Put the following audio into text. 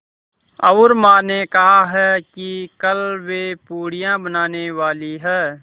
और माँ ने कहा है कि कल वे पूड़ियाँ बनाने वाली हैं